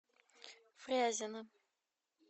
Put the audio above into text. фрязино